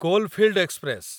coalfield express